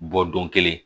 Bɔ don kelen